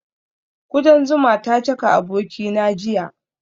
Kudan zuma ta caka abokina jiya